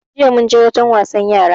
Jiya munje wajen wasan yara